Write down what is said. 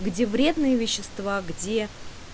где вредные вещества где